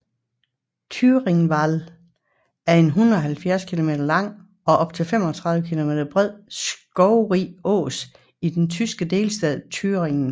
Thüringer Wald er en 170 km lang og op til 35 km bred skovrig ås i den tyske delstat Thüringen